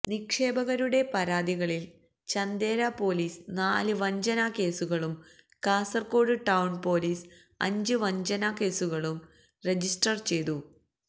നിക്ഷേപകരുടെ പരാതികളിൽ ചന്ദേര പൊലീസ് നാല് വഞ്ചന കേസുകളും കാസർകോട് ടൌൺ പൊലീസ് അഞ്ച് വഞ്ചന കേസുകളും രജിസ്റ്റർ ചെയ്തു